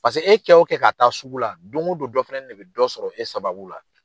Paseke e kɛ o kɛ ka taa sugu la don o don dɔ fɛnɛni de bɛ dɔ sɔrɔ e sababu la.